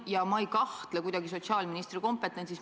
Ja ma ei kahtle kuidagi sotsiaalministri kompetentsis.